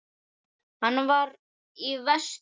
Hann var í vestur.